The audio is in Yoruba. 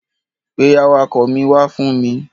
Pe awakọ̀ mi wá fún mi.